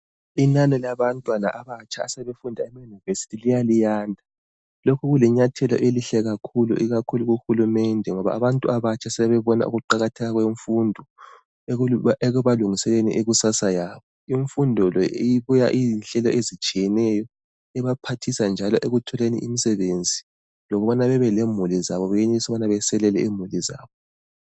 Inani labantwana abatsha, asebefunda eyunivesithi, liyala liyanda. Lokhu kulinyathelo elihle kakhulu, ikakhulu kuhulumende, ngoba abantu abatsha sebebona ukuqakatheka kwemfundo., ekubalungiseleleni ikusasa yabo Imfundo le, ibuya iyinhlelo ezitshiyeneyo ibaphathisa njalo ekutholeni imisebenzi. Lokubana bebe lemuli zabo benelise ukuselela imuli zabo.